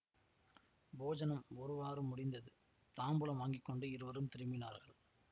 போஜனம் ஒருவாறு முடிந்தது தாம்பூலம் வாங்கி கொண்டு இருவரும் திரும்பினார்கள்